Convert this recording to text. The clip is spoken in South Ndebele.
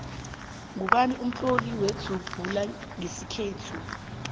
ngubani umtloli wenzubhula nqesikhethu